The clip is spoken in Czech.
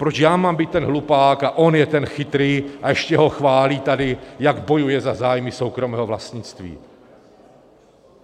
- Proč já mám být ten hlupák a on je ten chytrý a ještě ho chválí tady, jak bojuje za zájmy soukromého vlastnictví.